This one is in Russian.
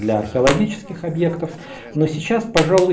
для археологических объектов но сейчас пожалуй